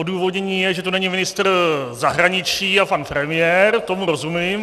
Odůvodnění je, že tu není ministr zahraničí a pan premiér, tomu rozumím.